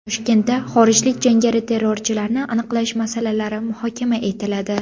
Toshkentda xorijlik jangari-terrorchilarni aniqlash masalalari muhokama etiladi.